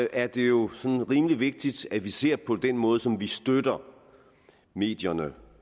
er det jo rimelig vigtigt at vi ser på den måde som vi støtter medierne